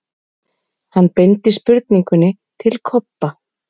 Hann beindi spurningunni til Kobba.